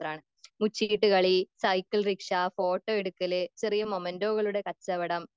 മുച്ചീട്ട് കളി cycle rickshaw photo എടുക്കല് ചെറിയ മൊമെന്റോകളുടെ കച്ചവടം